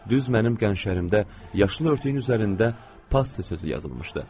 Düz mənim qənşərimdə yaşıl örtüyün üzərində “Passi” sözü yazılmışdı.